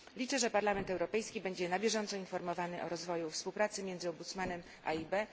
Liczę, że Parlament Europejski będzie na bieżąco informowany o rozwoju współpracy między rzecznikiem a EIB.